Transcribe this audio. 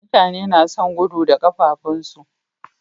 Mutane nason gudu da kafafin su